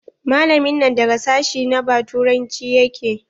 Malamin nan daga sashi ba turanci yake?